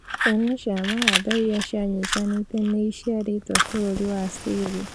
Cĩana cia mahatha iria cianyitanĩte nĩ iciaretwo bũrũri wa Ciria